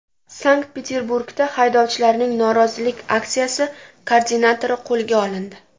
Sankt-Peterburgda haydovchilarning norozilik aksiyasi koordinatori qo‘lga olindi.